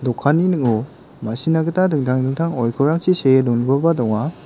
dokanni ning·o ma·sina gita dingtang dingtang oikorrangchi see dongipaba donga.